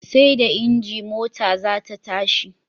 Seda inji mota zata tashi